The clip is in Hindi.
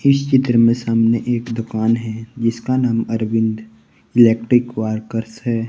इस चित्र में सामने एक दुकान है जिसका नाम अरविंद इलेक्ट्रिक वार्कर्स है।